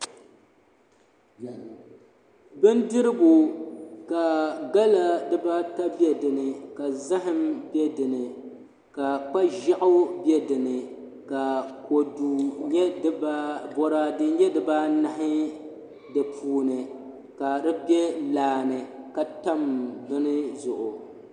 Bindirigu ka gala dibaata bɛ dinni ka zaham bɛ dinni ka kpa ʒiɛɣu bɛ dinni ka boraadɛ nyɛ dibaanahi di puuni ka di bɛ laa ni ka tam bin zuɣu